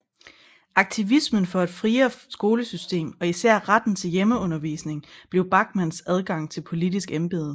Aktivismen for et friere skolesystem og især retten til hjemmeundervisning blev Bachmanns adgang til et politisk embede